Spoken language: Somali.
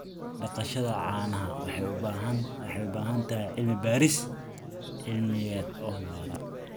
Dhaqashada caanaha waxay u baahan tahay cilmi-baaris cilmiyeed oo waara.